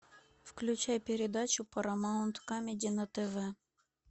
включай передачу парамаунт камеди на тв